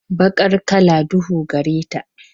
Baqar kala duhu gare ta.